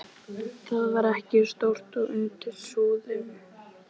Það var ekki stórt og undir súðum.